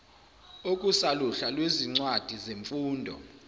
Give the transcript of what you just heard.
okusaluhla lwezincwadi zesifundo